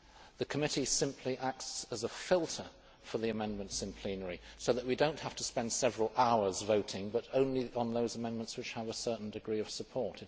The committee simply acts as a filter for the amendments in plenary so that we do not have to spend several hours voting, but only on those amendments which have a certain degree of support.